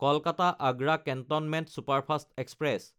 Kolkata-Agra cantonment superfast express